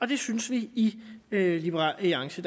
det synes vi i liberal alliance